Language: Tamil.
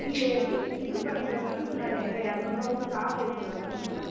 இல்லையே இது பண்ணிட்டு வந்தேன்னு சொன்னாரு எங்கிட்ட இருநூறு ரூபாய் கொடுத்து charge ஏத்திட்டு வந்தேன்னு சொன்னாரு